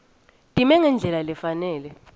time ngendlela lefanele